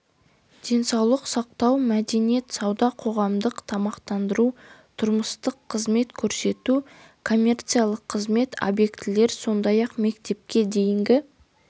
денсаулық сақтау мәдениет сауда қоғамдық тамақтандыру тұрмыстық қызмет көрсету коммерциялық қызмет объектілер сондай-ақ мектепке дейінгі